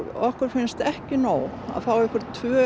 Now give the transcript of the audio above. okkur finnst ekki nóg að fá tvö